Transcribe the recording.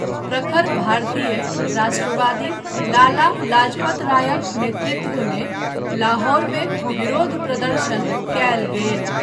प्रखर भारतीय राष्ट्रवादी लाला लाजपत रायक नेतृत्वमे लाहौरमे विरोध प्रदर्शन कयल गेल।